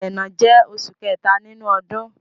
Ẹrẹ́nà jẹ́ oṣù kẹta nínú ọdún.